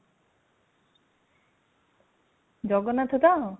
ଜଗନ୍ନାଥ ତ